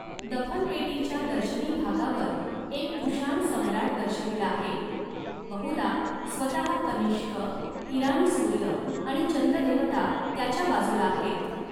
दफन पेटीच्या दर्शनी भागावर एक कुशाण सम्राट दर्शविला आहे, बहुधा स्वतः कनिष्क, ईराणी सूर्य आणि चंद्र देवता त्याच्या बाजूला आहेत.